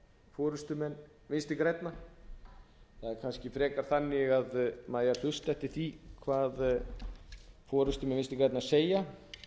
forustumenn vinstri grænna það er kannski frekar þannig að maður eigi að hlusta eftir því hvað forustumenn vinstri grænna segja